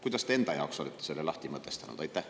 Kuidas te enda jaoks olete selle lahti mõtestanud?